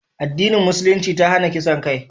addinin musulunci ta hana kisan kai